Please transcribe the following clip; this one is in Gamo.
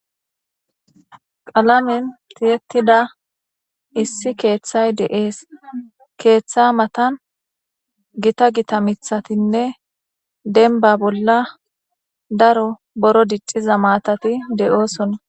qalamen tiyettida issi keeththay de7ees keeththa matan gita gita mithatinne denba bolla daro boro dicciza maatati de7oosona